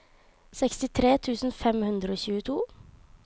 sekstitre tusen fem hundre og tjueto